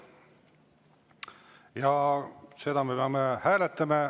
Ja seda me peame hääletama.